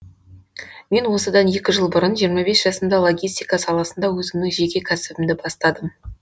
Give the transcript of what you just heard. мен осыдан екі жыл бұрын жиырма бес жасымда логистика саласында өзімнің жеке кәсібімді бастадым